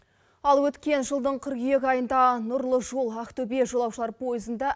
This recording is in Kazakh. ал өткен жылдың қыркүйек айында нұрлы жол ақтөбе жолаушылар поезында